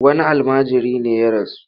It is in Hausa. Wani almajiri ne ya rasu.